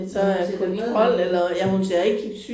Jamen hun ser da medholden ud